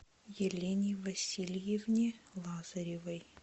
елене васильевне лазаревой